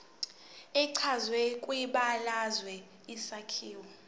echazwe kwibalazwe isakhiwo